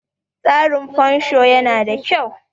tsarin fansho yana da kyau